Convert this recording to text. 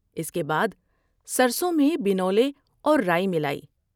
اس کے بعد سرسوں میں بنولے اور رائی ملائی ۔